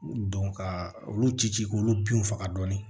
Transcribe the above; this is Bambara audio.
ka olu ci ci k'olu binw faga dɔɔni